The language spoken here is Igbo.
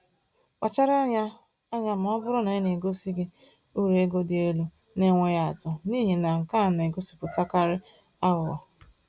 Kpachara anya anya ma ọ bụrụ na e gosiri gị uru ego dị elu na-enweghị atụ, n’ihi na nke a na-egosipụtakarị aghụghọ.